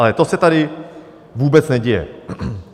Ale to se tady vůbec neděje.